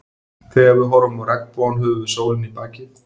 Þegar við horfum á regnbogann höfum við sólina í bakið.